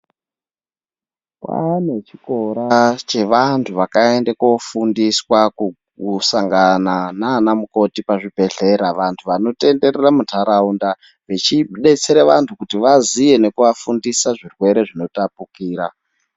Kwane chikora kwezvikora zvakaenda kofundiswa kusangana nana mukoti pazvibhedhlera antu anotenderera mundaraunda vechidetsera antu kuti vazive nekuvafundisa zvirwere zvinotapukira.